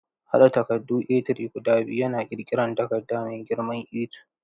Haɗa takaddun A3 guda biyu yana ƙirƙirar takarda mai girman A2.